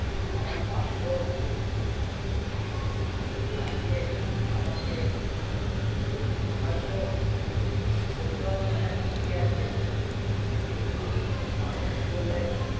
আমার ভাগ্য আজকে আমাকে হয়তো বলতে পারছি না ঠিক কি আছে কিন্তু মানুষ বলে